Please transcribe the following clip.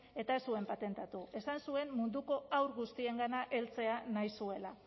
eta ez zuen patentatu esan zuen munduko haur guztiengana heltzea nahi zuela